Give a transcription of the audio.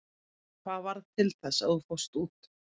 Hvað varð til þess að þú fórst út?